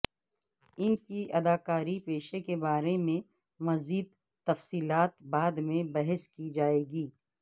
ان کی اداکاری پیشے کے بارے میں مزید تفصیلات بعد میں بحث کی جائے گی